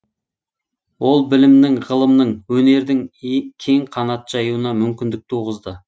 ол білімнің ғылымның өнердің кең қанат жаюына мүмкіндік туғызды